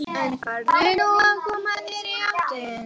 En farðu nú að koma þér í háttinn.